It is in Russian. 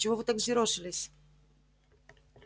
чего вы так взъерошились